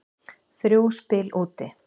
Þrjú spil úti.